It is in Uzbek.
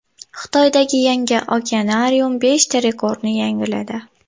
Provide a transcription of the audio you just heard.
Xitoydagi yangi okeanarium beshta rekordni yangiladi.